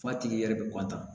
F'a tigi yɛrɛ bi